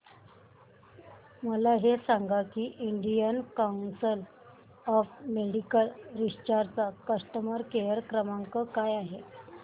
मला हे सांग की Indian council of medical research चा कस्टमर केअर क्रमांक काय आहे